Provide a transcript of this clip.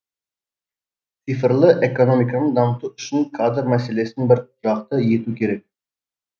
цифрлы экономиканы дамыту үшін кадр мәселесін бір жақты ету керек